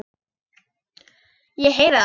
Ég heyri það.